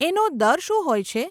એનો દર શું હોય છે?